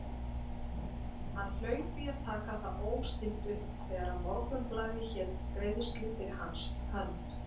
Hann hlaut því að taka það óstinnt upp, þegar Morgunblaðið hét greiðslu fyrir hans hönd!